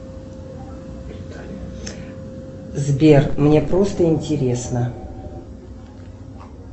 сбер мне просто интересно